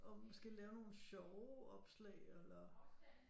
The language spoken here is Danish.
Og måske lave nogle sjove opslag eller